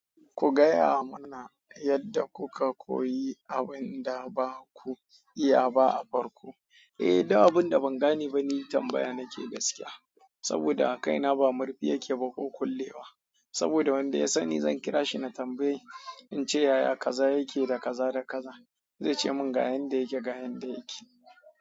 Kungaya mana yadda kuka koyi abinda baku iya ba a farki. Eh, duk abin da ban gane ba, ni tambaya nake gaskiya. Daboda kaina ba marfinyake ba ko kullews saboda wadda ya sani kirashi na tambayai ince yaya kaza yake da jaza da kaza, zai ce ga yanda yake ga yanda yake.